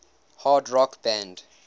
hard rock band